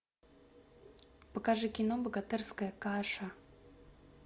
покажи кино богатырская каша